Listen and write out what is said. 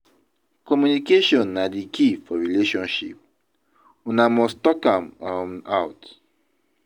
Communication na di key for relationship, una must talk am um out.